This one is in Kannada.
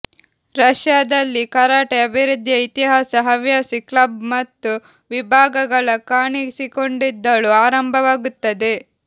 ರಷ್ಯಾದಲ್ಲಿ ಕರಾಟೆ ಅಭಿವೃದ್ಧಿಯ ಇತಿಹಾಸ ಹವ್ಯಾಸಿ ಕ್ಲಬ್ ಮತ್ತು ವಿಭಾಗಗಳ ಕಾಣಿಸಿಕೊಂಡಿದ್ದಳು ಆರಂಭವಾಗುತ್ತದೆ